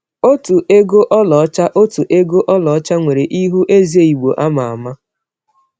Otu ego ọlaọcha Otu ego ọlaọcha nwere ihu eze Igbo ama ama.